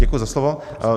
Děkuji za slovo.